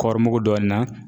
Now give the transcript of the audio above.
Kɔri mugu dɔɔnin na